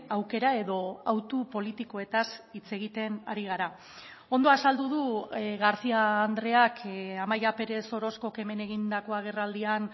aukera edo autu politikoetaz hitz egiten ari gara ondo azaldu du garcía andreak amaia pérez orozcok hemen egindako agerraldian